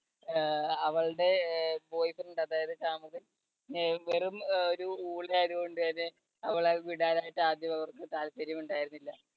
അഹ് അവളുടെ അഹ് boy friend അതായത് ഷാമില്, അഹ് വെറും ഒരു ഊള ആയതുകൊണ്ട് തന്നെ അവളെ വിടാൻ ആയിട്ട് ആദ്യം അവർക്ക് താല്പര്യം ഉണ്ടായിരുന്നില്ല.